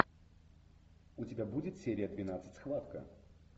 у тебя будет серия двенадцать схватка